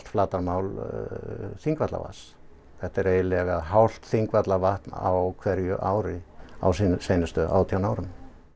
flatarmál Þingvallavatns þetta er eiginlega hálft Þingvallavatn á ári á seinustu átján árum